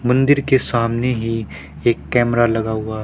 मंदिर के सामने ही एक कैमरा लगा हुआ--